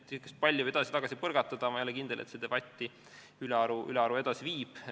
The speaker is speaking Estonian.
Kui palli edasi-tagasi põrgatada, siis ma ei ole kindel, et see debatti ülearu edasi viib.